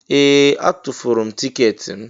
Ee! Atụfuru m tiketi m.